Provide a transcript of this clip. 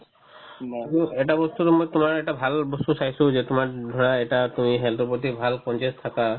কিন্তু এটা বস্তুতো মই তোমাৰ এটা ভাল বস্তু চাইছো যে তোমাৰ ধৰা এটা তুমি health ৰ প্ৰতি ভাল conscious থাকা